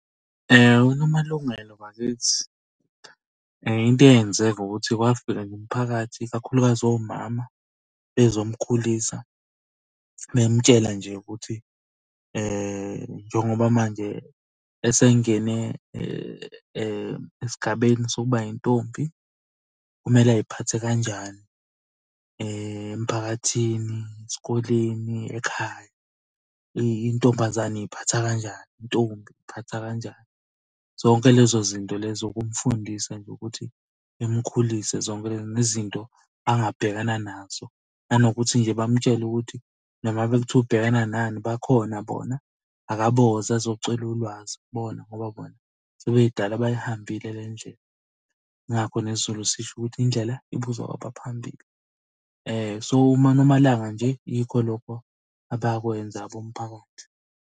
UNomalungelo bakithi, into eyenzeka ukuthi kwafika nje umphakathi, kakhulukazi omama bezomkhulisa. Bemutshela nje ukuthi njengoba manje esengene esigabeni sokuba yintombi kumele ay'phathe kanjani emphakathini, esikoleni, ekhaya. Intombazane iy'phatha kanjani, intombi iy'phatha kanjani? Zonke lezo zinto lezo ukumfundisa nje ukuthi imukhulise zonke nezinto angabhekana nazo. Nanokuthi nje bamutshele ukuthi noma ngabe kuthiwa ubhekana nani bakhona bona akaboza azocela ulwazi kubona ngoba bona sebedala bayihambile le ndlela. Ingakho nesiZulu sisho ukuthi indlela ibuzwa kwabaphambili. So, uma uNomalanga nje yikho lokho abakwenza komphakathi.